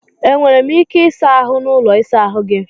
E nwere m ike ịsa ahụ n'ụlọ ịsa ahụ gị?